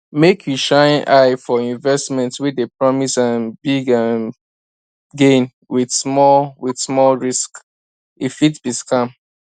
make you shine eye for investment wey dey promise um big um gain with small with small risk e fit be scam